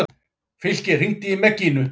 Fylkir, hringdu í Mekkínu.